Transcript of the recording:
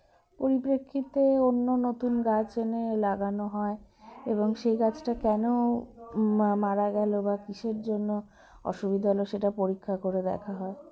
পরিপ্রেক্ষিতে অন্য নতুন গাছ এনে লাগানো হয় এবং সেই গাছটা কেন মা মারা গেল বা কিসের জন্য অসুবিধা হলো সেটা পরিক্ষা করে দেখা হয়